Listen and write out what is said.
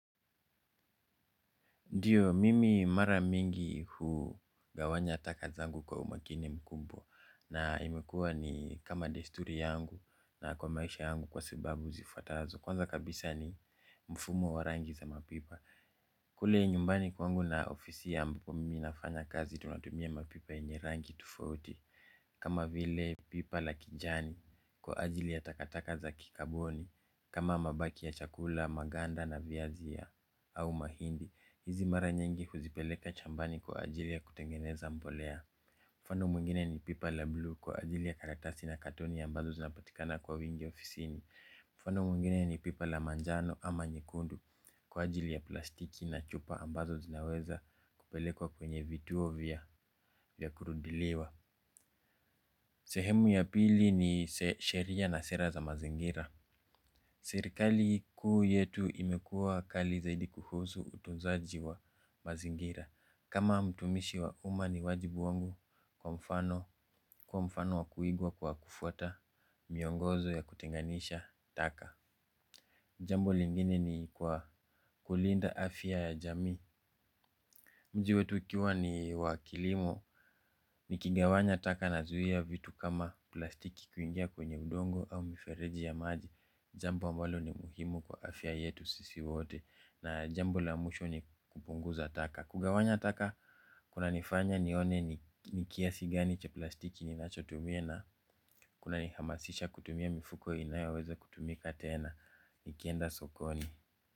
Ndio, mimi mara mingi hugawanya taka zangu kwa umakini mkubwa. Na imekuwa ni kama desturi yangu na kwa maisha yangu kwa sababu zifuatazo. Kwanza kabisa ni mfumo wa rangi za mapipa. Kule nyumbani kwangu na ofisi ambapo mimi nafanya kazi tunatumia mapipa yenye rangi tofauti. Kama vile pipa la kijani kwa ajili ya takataka za kikaboni kama mabaki ya chakula, maganda na viazi au mahindi. Hizi mara nyingi huzipeleka shambani kwa ajili ya kutengeneza mbolea. Mfano mwngine ni pipa la blue kwa ajili ya karatasi na katoni ambazo zinapatikana kwa wingi ofisini. Mfano mungine ni pipa la manjano ama nyekundu kwa ajili ya plastiki na chupa ambazo zinaweza kupelekwa kwenye vituo vya kurudiliwa. Sehemu ya pili ni sheria na sera za mazingira. Serikali kuu yetu imekua kali zaidi kuhusu utunzaji wa mazingira. Kama mtumishi wa uma ni wajibu wangu kwa mfano kwa mfano wakuigwa kwa kufuata miongozo ya kutenganisha taka. Jambo lingine ni kwa kulinda afya ya jamii. Mji wetu ukiwa ni wa kilimo ni kigawanya taka na zuia vitu kama plastiki kuingia kwenye udongo au mifereji ya maji. Jambo ambalo ni muhimu kwa afya yetu sisi wote na jambo la mwisho ni kupunguza taka. Kugawanya taka kuna nifanya nione ni kiasi gani cha plastiki ninachotumia na kuna ni hamasisha kutumia mifuko inayoweza kutumika tena nikienda sokoni.